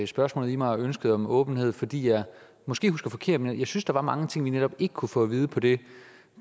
spørgsmålet i mig om ønsket om åbenhed fordi jeg måske husker forkert men jeg synes der var mange ting vi netop ikke kunne få at vide på det